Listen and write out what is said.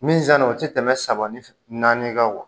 Min sanni o tɛ tɛmɛ saba ni naani kan